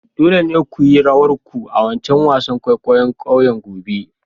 Dole ne ku yi rawar ku a'wancan wasan kwaikwayo'n kauyen gobe!